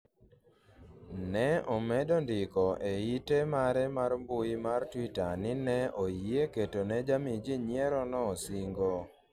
ne omedo ndiko e ite mare mar mbui mar twitter ni ne oyie ketone jami jii nyierono singo